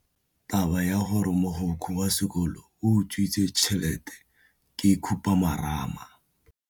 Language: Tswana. Taba ya gore mogokgo wa sekolo o utswitse tšhelete ke khupamarama.